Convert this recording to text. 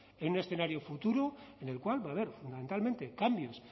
en un escenario futuro en el cual va a haber fundamentalmente cambios